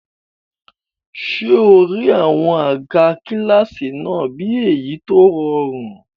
Ṣé o rí àwọn àga kílásì náà bí èyí tó rọrùn?